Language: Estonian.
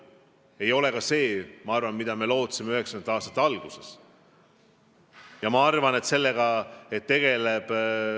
See ei ole ka see, mida me lootsime 1990-ndate alguses.